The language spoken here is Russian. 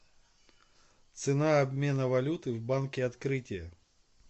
цена обмена валюты в банке открытие